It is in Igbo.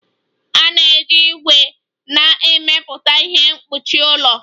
A na-eji ígwè na-emepụta ihe mkpuchi ụlọ